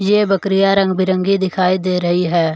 ये बकरियां रंग-बिरंगी दिखाई दे रही है।